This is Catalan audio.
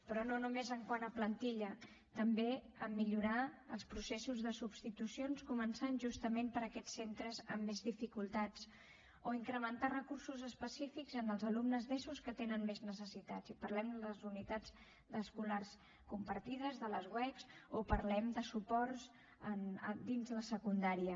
però no només quant a plantilla també a millorar els processos de substitucions començant justament per aquests centres amb més dificultats o incrementar recursos específics en els alumnes d’eso que tenen més necessitats i parlem de les unitats d’escolars compartides de les uec o parlem de suports dins la secundària